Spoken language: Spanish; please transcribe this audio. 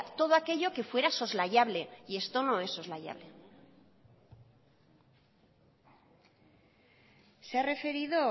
todo aquello que fuera soslayable y esto no es soslayable se ha referido